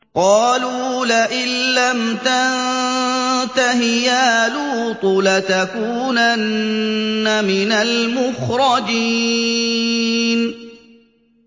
قَالُوا لَئِن لَّمْ تَنتَهِ يَا لُوطُ لَتَكُونَنَّ مِنَ الْمُخْرَجِينَ